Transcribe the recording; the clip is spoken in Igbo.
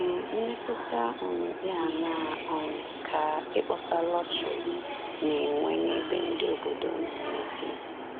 um Mmetụta um dị aṅaa um ka ịkpọsa lọtrị na-enwe n’ebe ndị obodo nọ n’ezie?